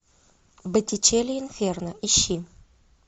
боттичелли инферно ищи